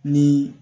Ni